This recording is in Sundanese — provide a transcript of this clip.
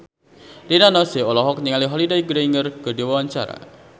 Rina Nose olohok ningali Holliday Grainger keur diwawancara